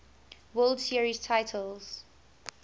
world series titles